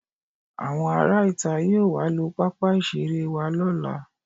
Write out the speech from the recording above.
Àwọn ará ìta yóò wá lo pápá ìṣeré wa lọ́la